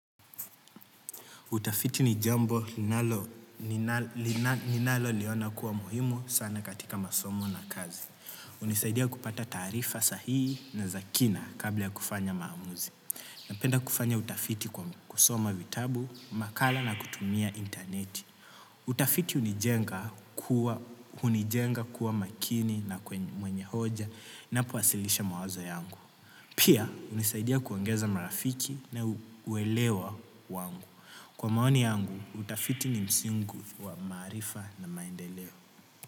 Utafiti ni jambo ninaloliona kuwa muhimu sana katika masomo na kazi. Hunisaidia kupata taarifa sahihi na za kina kabla ya kufanya maamuzi. Napenda kufanya utafiti kwa kusoma vitabu, makala na kutumia interneti. Utafiti hunijenga kuwa. Hunijenga kuwa makini na mwenye hoja ninapowasilisha mawazo zangu. Pia hunisaidia kuongeza marafiki na uelewa wangu. Kwa maoni yangu, utafiti ni msingi kuu wa maarifa na maendeleo.